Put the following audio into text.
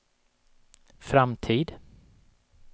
framtid